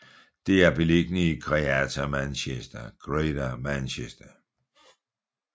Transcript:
Det er beliggende i Greater Manchester